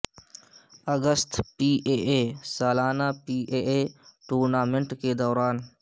August P A A سالانہ سالانہ P A A tournament کے دوران